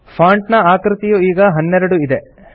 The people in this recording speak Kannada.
ಫಾಂಟ್ ನ ಆಕೃತಿಯು ಈಗ 12 ಇದೆ